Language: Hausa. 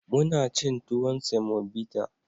Mun ci tuwon semobita.